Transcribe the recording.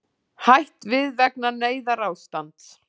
Hætt við vegna neyðarástands